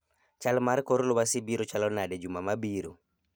chal mar kor lwasi biro chalo nade juma ma biro